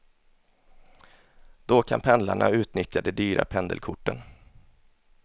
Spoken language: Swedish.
Då kan pendlarna utnyttja de dyra pendelkorten.